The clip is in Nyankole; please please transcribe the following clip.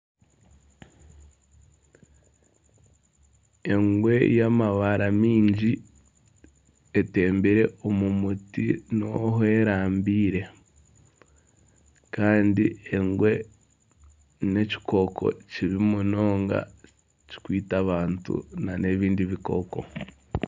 Engwe y'amabara maingi etembire omu muti niho erambaire kandi engwe n'ekikooko kibi munonga ekikwita abantu n'ebindi bikooko.